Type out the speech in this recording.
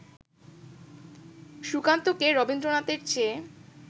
সুকান্তকে রবীন্দ্রনাথের চেয়ে